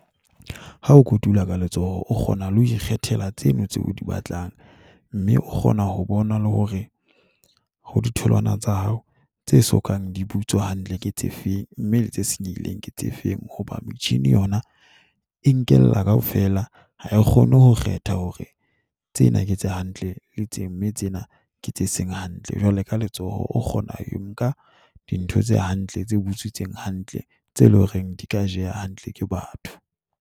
Ha o kotula ka letsoho, o kgona le ho ikgethela tseno tse o di batlang. Mme o kgona ho bona le hore ho ditholwana tsa hao tse sokang di butswa hantle ke tse feng, mme le tse senyehileng ke tse feng. Hoba machine yona e nkella kaofela. Ha e kgone ho kgetha hore tsena ke tse hantle le teng, mme tsena ke tse seng hantle. Jwale ka letsoho o kgona ho nka dintho tse hantle, tse butswitseng hantle tse leng horeng di ka jeha hantle ke batho.